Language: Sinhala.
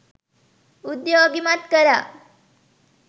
උද්යෝගිමත් කළා